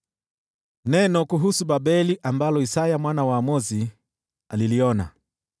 Neno kuhusu Babeli ambalo Isaya mwana wa Amozi aliliona: